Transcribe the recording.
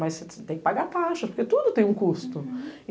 Mas você tem que pagar taxas, porque tudo tem um custo.